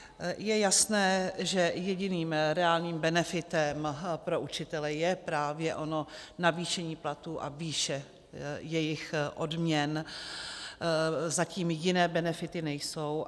Je jasné, že jediným reálným benefitem pro učitele je právě ono navýšení platů a výše jejich odměn, zatím jiné benefity nejsou.